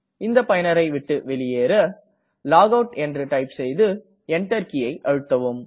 இந்த பயனரை விட்டு வெளியேற லாகவுட் என்று டைப் செய்து Enter கீயை அழுத்தவும்